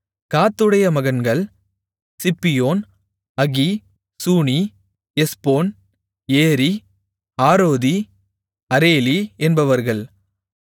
காத்துடைய மகன்கள் Ziphion Haggi Shuni Ezbon Eri Arodi Areli என்பவர்கள்